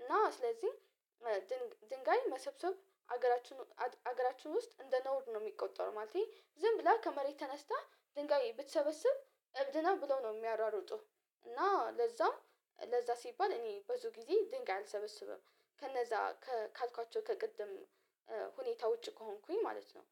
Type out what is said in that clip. እና ስለዚህ ድንጋይ መሰብሰብ ሀገራችን ሀገራችን ውስጥ እንደ ነውር ነው የሚቆጠረው ማለቴ ዝም ብለህ ከመሬት ተነስተህ ድንጋይ ብትሰበስብ እብድ ነው ብሎ ነው የሚያራርጡ እና ለዛም ለዛ ሲባል እኔ ብዙ ጊዜ ድንጋይ አልሰበስብም ከነዛ ካልኳቸው ከቅድም ሁኔታ ውጪ ከሆንኩኝ ማለት ነው